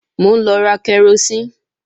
Mò ń lọ ra karosín